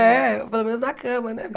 É, pelo menos na cama, né?